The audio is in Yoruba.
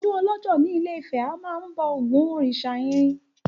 Ọdún ọlọ́jọ́ ní ilé-ifẹ̀, a máa ń bọ Ògún òrìsà irin.